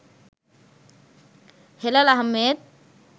Helal Ahmed